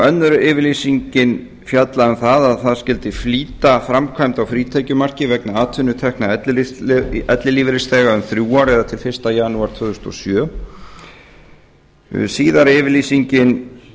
önnur yfirlýsingin fjallaði um að það skyldi flýta framkvæmd á frítekjumarki vegna atvinnutekna ellilífeyrisþega um þrjú ár eða til fyrsta janúar tvö þúsund og sjö síðari yfirlýsingin